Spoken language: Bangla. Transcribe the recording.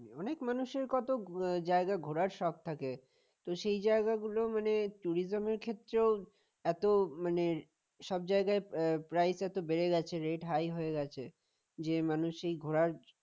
অনেক মানুষের কত জায়গার ঘোরার শখ থাকে তো সেই জায়গাগুলো মানে tourism ক্ষেত্রেও এত মানে সব জায়গায় price এত বেড়ে গেছে rate high হয়ে গেছে যে মানুষ এই ঘোরার